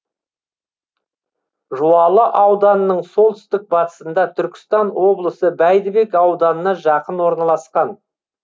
жуалы ауданының солтүстік батысында түркістан облысы бәйдібек ауданына жақын орналасқан